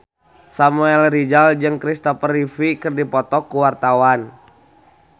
Samuel Rizal jeung Kristopher Reeve keur dipoto ku wartawan